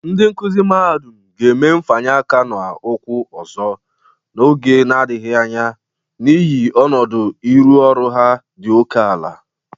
Ndị nkụzị mahadụm ga-eme mfanye aka na ụkwụ ọzọ n'oge nadịghị anya n'ihi ọnụdụ ịrụ ọrụ ha dị oke ala